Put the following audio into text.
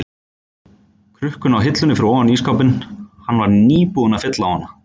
krukkuna á hillunni fyrir ofan ísskápinn, hann var nýbúinn að fylla á hana.